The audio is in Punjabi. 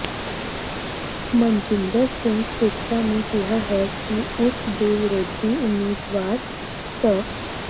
ਮਨਜਿੰਦਰ ਸਿੰਘ ਸਿਰਸਾ ਨੇ ਕਿਹਾ ਹੈ ਕਿ ਉਸ ਦੇ ਵਿਰੋਧੀ ਉਮੀਦਵਾਰ ਸ